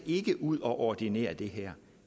ud og ordinere det her